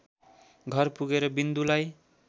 घर पुगेर विन्दुलाई